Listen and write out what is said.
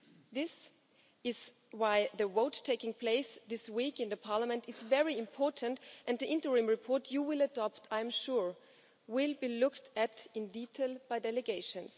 This is why the vote taking place this week in Parliament is very important and the interim report you will adopt I am sure will be looked at in detail by delegations.